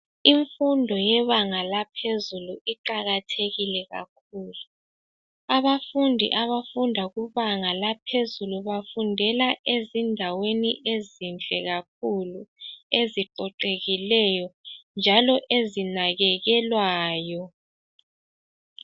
Imfundo yebanga laphezulu iqakathekile kakhulu. Abafundi abafunda kubanga laohezuku bafundela endaweni ezinhle kakhulu eziqoqekileyo njalo ezinakekelwayo.